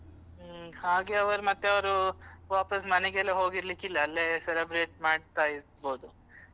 ಹ್ಮ್ ಹಾಗೆ ಅವರು ಮತ್ತೆ ಅವರು ವಾಪಸ್ ಮನೆಗೆಲ್ಲ ಹೋಗಿರ್ಲಿಕ್ಕಿಲ್ಲ ಅಲ್ಲೇ celebrate ಮಾಡ್ತಾ ಇರ್ಬೋದು.